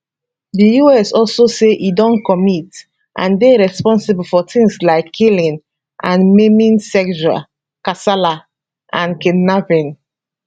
di us also say e don commit and dey responsible for tins like killing and maiming sexual kasala and kidnapping